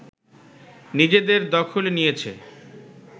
নিজেদের দখলে নিয়েছে